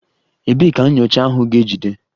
Ebee ka nyocha ahụ ga-ejide?